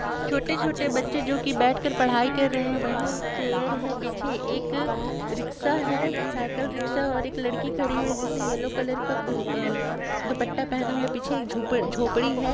छोटे-छोटे बच्चे जो की बैठ के पढ़ाई कर रहे है वही एक चेयर है पीछे एक सिक्सा है साइकिल सिक्स और एक लड़की खरी है जिसने येल्लो कलर का आ लपटा हुआ पीछे एक झोपड़ी है।